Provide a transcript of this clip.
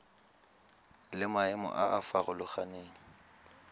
le maemo a a farologaneng